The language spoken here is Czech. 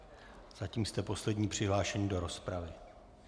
Zatím jste poslední přihlášený do rozpravy.